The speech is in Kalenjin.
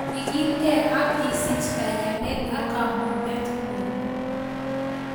Ikilgei ak isich kaiyanet ak kamugetngung